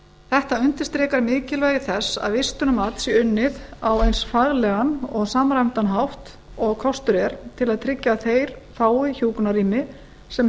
þetta undirstrikar mikilvægi þess að vistunarmat sé unnið á eins faglegan og samræmdan hátt og kostur er til að tryggja að þeir fái hjúkrunarrými sem